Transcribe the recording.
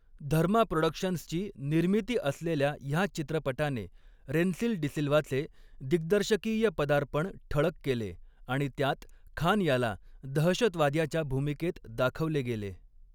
धर्मा प्रॉडक्शन्सची निर्मिती असलेल्या ह्या चित्रपटाने रेन्सिल डिसिल्व्हाचे दिग्दर्शकीय पदार्पण ठळक केले आणि त्यात खान ह्याला दहशतवाद्याच्या भूमिकेत दाखवले गेले.